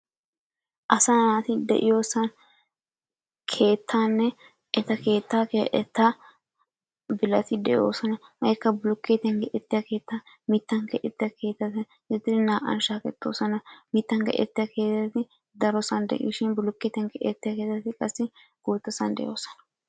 Asaa naati de'iyosan keettaanne eta keettaa keexettaa bilati de'oosona. Hegeekka bulukkeetiyan keexettiya keettaa, mittan keexettiya keettata gididi naa"an shaakettoosona. Mittan keexettiya keettati darosan de'ishin bulukkeetiyan keexettiya keettati qassi guuttasan de'oosona.